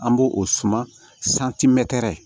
An bo o suma